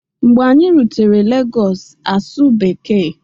Mgbe anyị rutere Lagos, asụ bekee